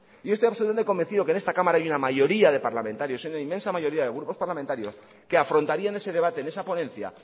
yo estoy absolutamente convencido que en esta cámara hay una mayoría de parlamentario una inmensa mayoría de grupos parlamentarios que afrontarían ese debate en esa ponencia